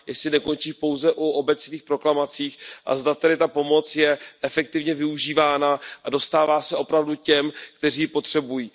Jestli nekončí pouze u obecných proklamací a zda tedy ta pomoc je efektivně využívána a dostává se opravdu těm, kteří ji potřebují.